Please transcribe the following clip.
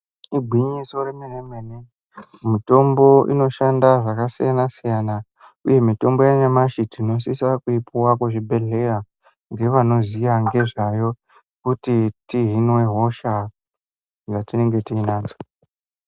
Igwinyiso remene mene mitombo inoshanda zvakasiyana siyana Uye mitombo yanyamashi tinosisa kuipuwa kuzvibhedhlera ngevanoziva nezvayo kuti tihinwe hosha dzatinenge tinadzo.